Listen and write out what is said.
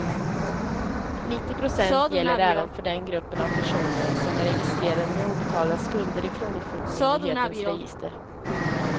Nittio procent gäller även för den gruppen av personer som är registrerade med obetalda skulder i kronofogdemyndighetens register.